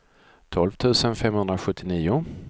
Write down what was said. tolv tusen femhundrasjuttionio